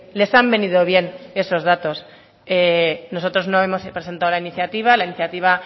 les han venido bien esos datos nosotros no hemos presentado la iniciativa la iniciativa